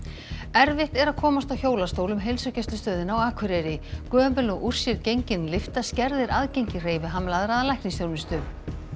erfitt er að komast á hjólastól um heilsugæslustöðina á Akureyri gömul og úr sér gengin lyfta skerðir aðgengi hreyfihamlaðra að læknisþjónustu